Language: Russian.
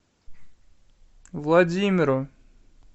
владимиру